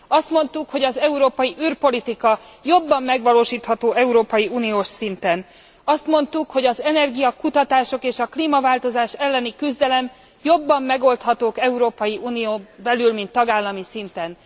Azt mondtuk, hogy az európai űrpolitika jobban megvalósítható európai uniós szinten, azt mondtuk, hogy az energiakutatások és a klímaváltozás elleni küzdelem jobban megoldhatók az Európai Unión belül, mint tagállami szinten.